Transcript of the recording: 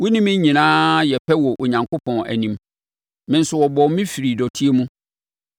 Wo ne me nyinaa yɛ pɛ wɔ Onyankopɔn anim; me nso wɔbɔɔ me firii dɔteɛ mu.